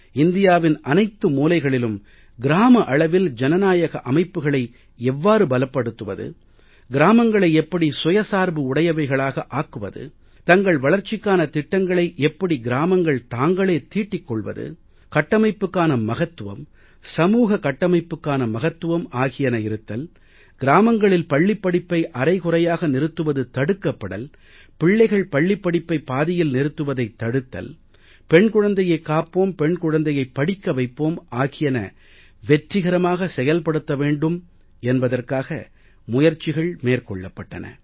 இந்தியாவின் அனைத்து மூலைகளிலும் கிராம அளவில் ஜனநாயக அமைப்புக்களை எவ்வாறு பலப்படுத்துவது கிராமங்களை எப்படி சுயசார்புடையவைகளாக ஆக்குவது தங்கள் வளர்ச்சிக்கான திட்டங்களை எப்படி கிராமங்கள் தாங்களே தீட்டிக் கொள்வது கட்டமைப்புக்கான மகத்துவம் சமூக கட்டமைப்புக்கான மகத்துவம் ஆகியன இருத்தல் கிராமங்களில் பள்ளிப்படிப்பை அரைகுறையாக நிறுத்துவது தடுக்கப்படல் பிள்ளைகள் பள்ளிப் படிப்பை பாதியில் நிறுத்துவதைத் தடுத்தல் பெண் குழந்தையைக் காப்போம் பெண் குழந்தையைப் படிக்க வைப்போம் ஆகியன வெற்றிகரமாக செயல்படுத்தப்பட வேண்டும் என்பதற்காக முயற்சிகள் மேற்கொள்ளப்பட்டன